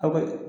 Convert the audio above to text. A bɛ